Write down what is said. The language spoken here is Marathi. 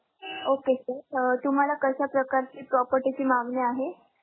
Okay Sir. अं तुम्हाला कशा प्रकारची property ची मागणी आहे?